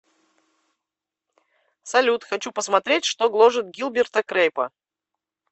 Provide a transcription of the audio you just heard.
салют хочу посмотреть что гложет гилберта крейпа